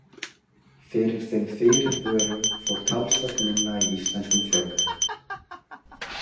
Fyrir þeim fyrirvörum fór talsvert minna í íslenskum fjölmiðlum.